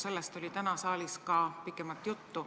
Sellest oli täna saalis ka pikemalt juttu.